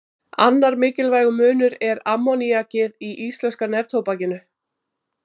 Annar mikilvægur munur er ammoníakið í íslenska neftóbakinu.